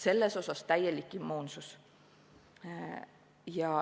Selles on täielik immuunsus.